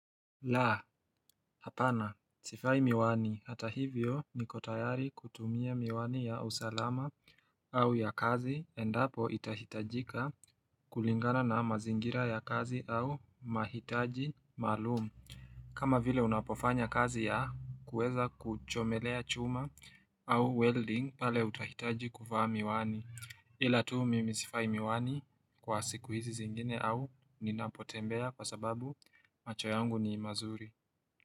Laa, hapana, sifai miwani, hata hivyo ni kotayari kutumia miwani ya usalama au ya kazi, endapo itahitajika kulingana na mazingira ya kazi au mahitaji maluumu, kama vile unapofanya kazi ya kuweza kuchomelea chuma au welding pale utahitaji kuva miwani. Ila tu mimi sivai miwani kwa siku hizi zingine au ninapotembea kwa sababu macho yangu ni mazuri.